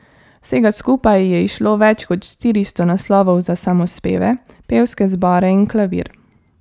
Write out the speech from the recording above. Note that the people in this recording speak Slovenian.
Vsega skupaj je izšlo več kot štiristo naslovov za samospeve, pevske zbore in klavir.